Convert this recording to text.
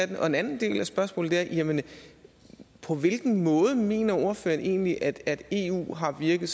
den anden del af spørgsmålet er jamen på hvilken måde mener ordføreren egentlig at eu har virket